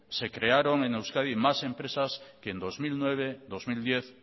se crearon en euskadi más empresas que en dos mil nueve dos mil diez